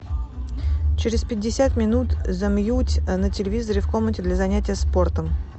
через пятьдесят минут замьють на телевизоре в комнате для занятия спортом